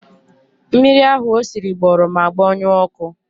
Mmiri ahụ o siri gbọrọ ma gbọnyuo ọkụ.